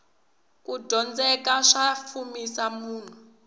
kudyondzeka swa fumisa munhu